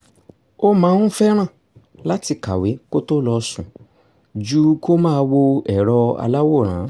ó máa ń fẹ́ láti kàwé kó tó lọ sùn ju kó máa wo èrọ aláwòrán